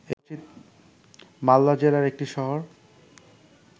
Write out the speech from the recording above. মালদা জেলার একটি শহর